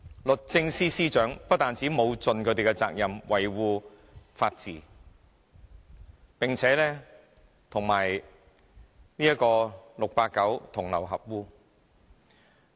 律政司司長不但沒有盡其責任，維護法治，並且與 "689" 同流合污。